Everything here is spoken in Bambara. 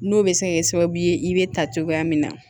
N'o bɛ se ka kɛ sababu ye i bɛ ta cogoya min na